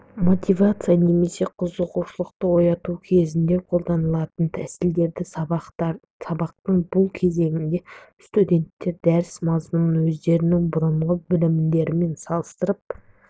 мотивация немесе қызығушылықты ояту кезеңінде қолданатын тәсілдер сабақтың бұл кезеңінде студенттер дәріс мазмұнын өздерінің бұрынғы білімдерімен салыстырып